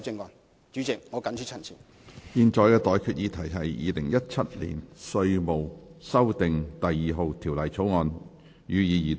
我現在向各位提出的待決議題是：《2017年稅務條例草案》，予以二讀。